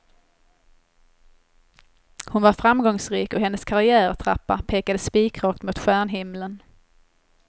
Hon var framgångsrik och hennes karriärtrappa pekade spikrakt mot stjärnhimlen.